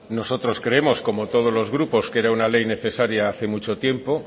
nosotros creemos como todos los grupos que era una ley necesaria hace mucho tiempo